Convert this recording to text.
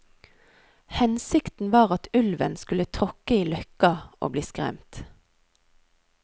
Hensikten var at ulven skulle tråkke i løkka, og bli skremt.